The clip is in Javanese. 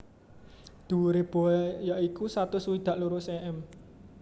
Dhuwure BoA ya iku satus swidak loro cm